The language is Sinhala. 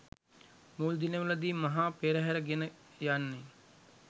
මුල් දිනවල දී මහා පෙරහරේ ගෙන යන්නේ